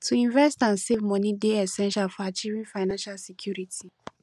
to invest and save money dey essential for achieving financial security